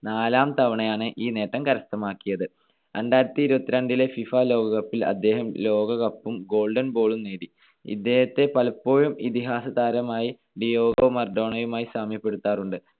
നാലാം തവണയാണ് ഈ നേട്ടം കരസ്ഥമാക്കിയത്. രണ്ടായിരത്തിഇരുപത്തിരണ്ടിലെ ഫിഫ ലോക കപ്പിൽ അദ്ദേഹം ലോകകപ്പും Golden Ball ഉം നേടി. ഇദ്ദേഹത്തെ പലപ്പോഴും ഇതിഹാസതാരമായി ഡിയാഗോ മറഡോണയുമായി സാമ്യപ്പെടുത്താറുണ്ട്.